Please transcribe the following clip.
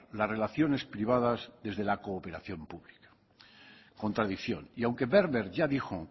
las relaciones privadas desde la cooperación pública contradicción y aunque werber ya dijo